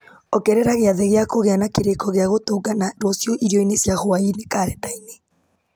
ongerera gĩathĩ gĩa kũgĩa na kĩrĩko gĩa gũtũngana rũciũ irio-inĩ cia hwaĩ-inĩ karenda-inĩ